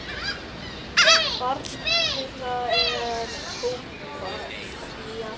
Barn þeirra er Tobías Freyr.